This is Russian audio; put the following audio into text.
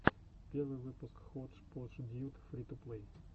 первый выпуск ходжподждьюд фри ту плей